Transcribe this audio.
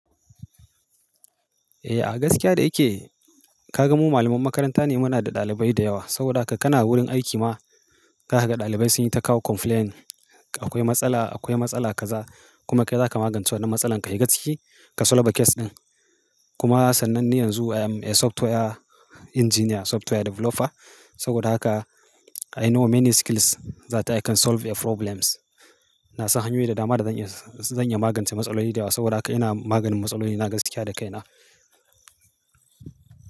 Eh a gaskiya da yake ka ga mu malaman makaranta ne muna da ɗalibai da yawa. Saboda haka kana wurin aiki ma za ka ga ɗalibai sun yi ta kawo complaint akwai matsala akwai matsala kaza kuma kai zaka magance wannan matsalan ka yi gaskiya ka solba case din. Kuma sannan ni yanzu I'm a software engineer software developer saboda haka I know many skills zata I can solve a problems. Na san hanyoyi da dama da zan iya zan iya magance matsaloli da yawa saboda haka ina maganin matsaloli na gaskiya da kaina.